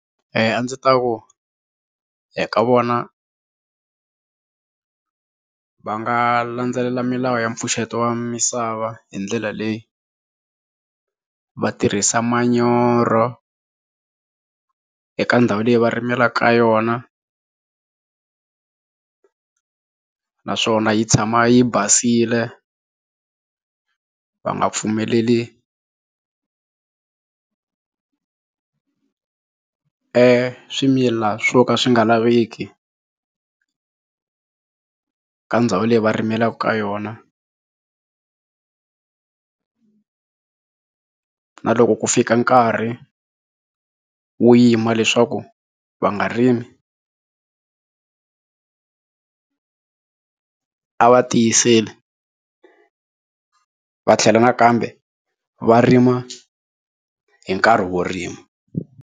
a ndzi ta ku ka vona va nga landzelela milawu ya mpfuxeto wa misava hi ndlela leyi va tirhisa manyoro eka ndhawu leyi va rimelaka ka yona naswona yi tshama yi basile va nga pfumeleli eswimila swo ka swi nga laveki ka ndhawu leyi va rimelaka ka yona na loko ku fika nkarhi wo yima leswaku va nga rimi a va tiyiseli va tlhela nakambe va rima hi nkarhi wo rima.